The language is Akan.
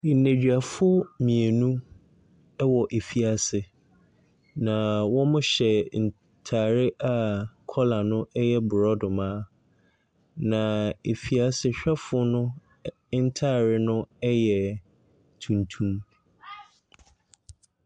Nneduafo mmienu wɔ efiase, na wɔhyɛ ntade a kɔla no yɛ borɔdoma, na efiasehwɛfoɔ no ntare no yɛ tuntum.